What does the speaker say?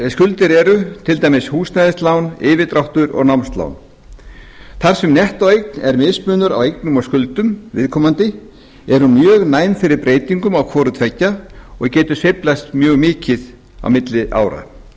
skuldir eru til dæmis húsnæðislán yfirdráttur og námslán þar sem nettóeign er mismunur á eignum og skuldum viðkomandi er hún mjög næm fyrir breytingum á hvoru tveggja og getur sveiflast mikið milli ára í frumvarpinu